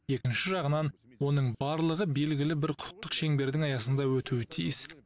екінші жағынан оның барлығы белгілі бір құқықтық шеңбердің аясында өтуі тиіс